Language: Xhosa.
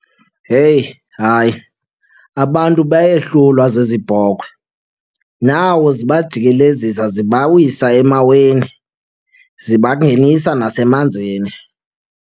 Heyi! Hayi, abantu bayehlulwa zezi bhokhwe. Nako zibajikelezisa zibawisa emaweni, zibangenisa nasemanzini.